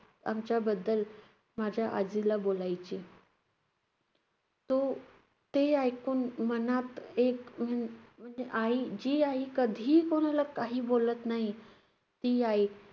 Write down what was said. आमच्याबद्दल माझ्या आजीला बोलायची. तो~ ते ऐकून मनात एक हम्म म्हणजे आई~ जी आई कधीही कोणाला काही बोलत नाही, ती आई